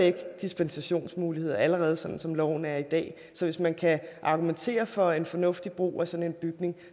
er dispensationsmuligheder allerede som som loven er i dag så hvis man kan argumentere for en fornuftig brug af sådan en bygning